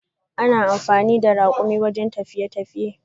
Ana amfani da rakumi wajen tafiye tafiye.